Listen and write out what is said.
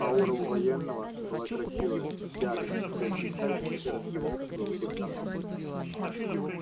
аура у военного была красивая яркая вся из блистающих серо-стальных и голубых тонов